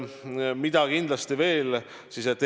Mida kindlasti veel?